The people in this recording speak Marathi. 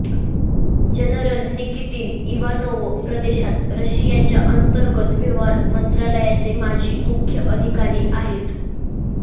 जनरल निकिटीन इवानोवो प्रदेशात रशियाच्या अंतर्गत व्यवहार मंत्रालयाचे माजी मुख्य अधिकारी आहेत